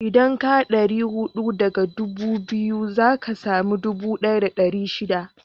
Idan ka ɗari huɗu daga ɗubu biyu, za ka sami ɗubu ɗaya da ɗari shida